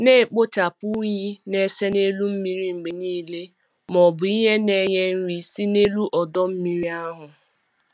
Na-ekpochapụ unyi na-ese n'elu mmiri mgbe niile ma ọ bụ ihe na-enye nri si n'elu ọdọ mmiri ahụ.